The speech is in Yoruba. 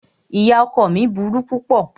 Ìyá ọkọ ọ mí burú púpọ̀.